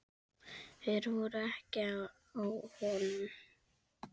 Hver voru ekki á honum?